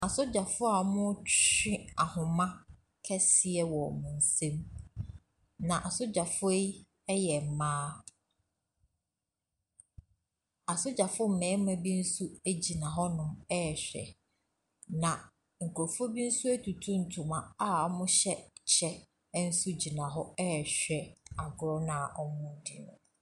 Asogyafoɔ wɔretwe ahoma kɛseɛ wɔ wɔn nsam, na asogyafoɔ yi yɛ mmaa. Asogyafoɔ mmarima bi nso gyina hɔnom ɛrehwɛ. Na nkurɔfoɔ bi nso atutu ntoma a wɔhyɛ kyɛ nso gyina hɔnom ɛrehwɛ agorɔ no a wɔredi no.